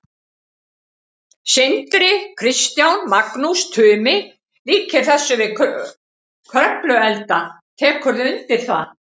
Sindri: Kristján, Magnús Tumi líkir þessu við Kröfluelda, tekurðu undir það?